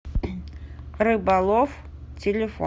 рыбалов телефон